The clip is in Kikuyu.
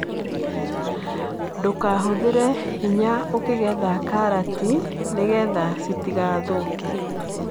Ndũkahũthĩre hinya ũkĩgetha karati, nĩgetha citigathũke.